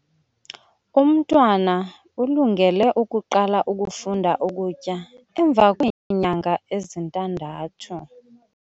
Umntwana ulungele ukuqala ukufunda ukutya emva kweenyanga ezintandathu.